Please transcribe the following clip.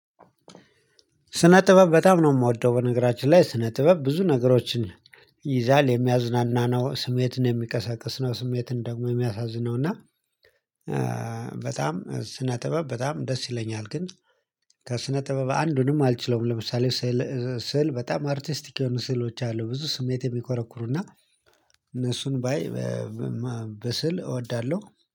ስነ ጥበብ በጣም ነው የምወደው። በነገራችን ላይ ስነ ጥበብ ብዙ ነገሮችን ይይዛል የሚያዝናና ነው ስሜትን የሚቀሰቅስ ነው ስሜትን ደግሞ የሚያሳዝን ነው። እና በጣም ስነ ጥበብ በጣም ደስ ይለኛል። ግን ከስነ ጥበብ አንዱንም አልችለውም። ለምሳሌ ስዕል በጣም አርቲስቲክ የሆኑ ስዕሎች አሉ ብዙ ስሜቴ ሚኮረኩሩና እነሱን ባይ በስዕል እወዳለሁ